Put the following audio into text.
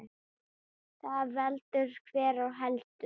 Þar veldur hver á heldur.